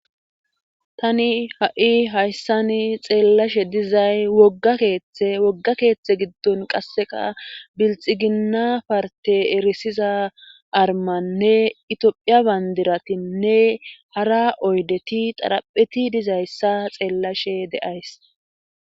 tani ha7i hayssani xeellashe dizay wogga keeththe wogga keeththe giddon qasseqa bilxi ginna parte erisiza armannne itiphiya bandiratinnne hara oydeti xarapheti dizayssa xeellashe de7ays